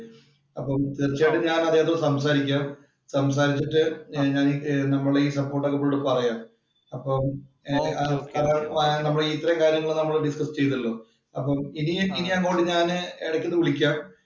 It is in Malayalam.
അപ്പൊ തീര്‍ച്ചയായും ഞാന്‍ അദ്ദേഹത്തോട് സംസാരിക്കാം. സംസാരിച്ചിട്ടു നമ്മടെ ഈ സപ്പോര്‍ട്ട് ഒക്കെ പുള്ളിയോട് പറയാം. അപ്പൊ ഇത്രയും കാര്യങ്ങള്‍ ഡിസ്കസ് ചെയ്തല്ലോ.